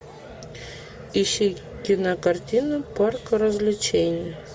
ищи кинокартину парк развлечений